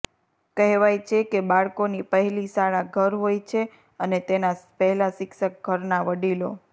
કહેવાય છે કે બાળકોની પહેલી શાળા ઘર હોય છે અને તેના પહેલા શિક્ષક ઘરના વડીલો